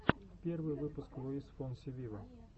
первый выпуск луис фонси виво